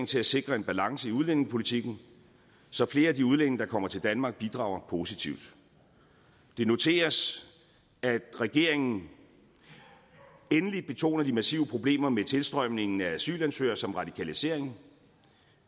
til at sikre en balance i udlændingepolitikken så flere af de udlændinge der kommer til danmark bidrager positivt det noteres at regeringen endelig betoner de massive problemer med tilstrømningen af asylansøgere samt radikalisering